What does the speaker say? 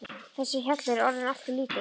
Þessi hjallur er orðinn allt of lítill.